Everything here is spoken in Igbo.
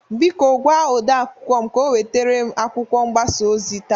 Biko gwa ode akwụkwọ m ka o nweterem akwụkwọ mgbasa ozi taa.